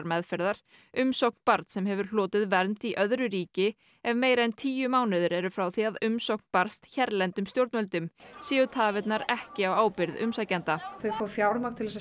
meðferðar umsókn barns sem hefur hlotið vernd í öðru ríki ef meira en tíu mánuðir eru frá því að umsókn barst hérlendum stjórnvöldum séu tafirnar ekki á ábyrgð umsækjanda þau fá fjármagn til að